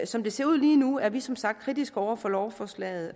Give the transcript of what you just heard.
som det ser ud lige nu er vi som sagt kritiske over for lovforslaget